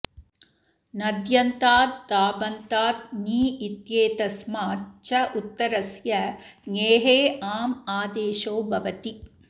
नद्यन्ताताबन्तात् नी इत्येतस्माच् च उत्तरस्य ङेः आम् आदेशो भवति